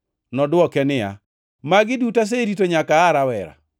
Nodwoke niya, “Magi duto aserito nyaka aa rawera.”